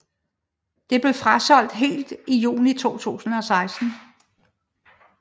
Det blev frasolgt helt i juni 2016